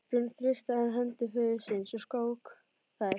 Björn þrýsti enn hendur föður síns og skók þær.